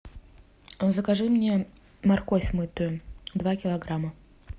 закажи мне морковь мытую два килограмма